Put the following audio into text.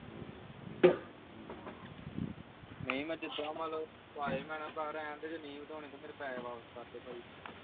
ਨਹੀਂ ਮੈਂ ਜਿੱਦਾ ਮਤਲਬ ਪਾਏ ਮੈਂ ਭਰਾ ਰਹਿਣਦੇ ਜੇ ਨਹੀਂ ਵਧਾਉਣੇ ਤੇ ਫਿਰ ਪੈਹੇ ਵਾਪਸ ਕਰਦੇ ਭਾਈ